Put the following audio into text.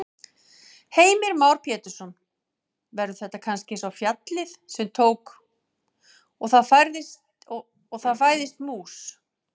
Heimir Már Pétursson: Verður þetta kannski eins og fjallið sem tók. og það fæðist mús?